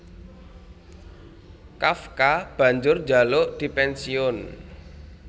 Kafka banjur njaluk dipènsiyun